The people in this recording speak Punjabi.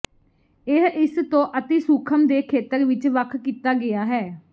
ਇਹ ਇਸ ਤੋਂ ਅਤਿ ਸੂਖਮ ਦੇ ਖੇਤਰ ਵਿਚ ਵੱਖ ਕੀਤਾ ਗਿਆ ਹੈ